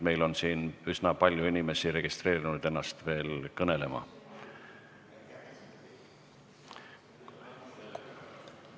Meil on siin üsna paljud inimesed registreerinud ennast veel kõnelejaks.